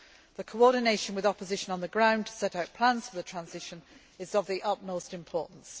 The coordination with opposition on the ground to set out plans for the transition is of the utmost importance.